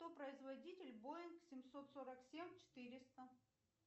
кто производитель боинг семьсот сорок семь четыреста